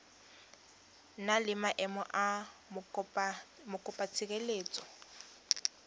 na le maemo a mokopatshireletso